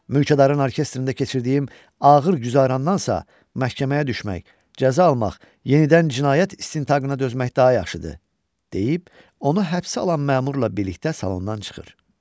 Mülkədarın orkestrində keçirdiyim ağır güzərandansa, məhkəməyə düşmək, cəza almaq, yenidən cinayət istintaqına dözmək daha yaxşıdır deyib, onu həbsə alan məmurla birlikdə salondan çıxır.